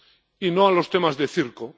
y no a los temas de circo.